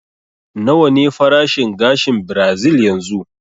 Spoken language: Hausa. Nawa ne farashin gashin birazil yanzu?